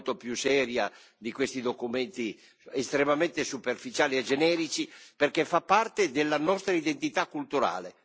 Credo sia necessario difendere il diritto in maniera molto più seria di questi documenti estremamente superficiali e generici, perché fa parte della nostra identità culturale.